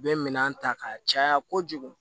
U bɛ minɛn ta k'a caya kojugu